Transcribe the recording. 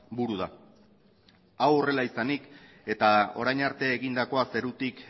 buru da hau horrela izanik eta orain arte egindakoa zerutik